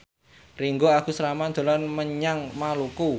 Ringgo Agus Rahman dolan menyang Maluku